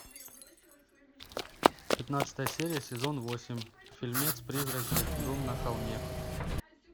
пятнадцатая серия сезон восемь фильмец призраки дом на холме